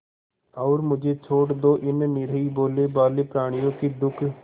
और मुझे छोड़ दो इन निरीह भोलेभाले प्रणियों के दुख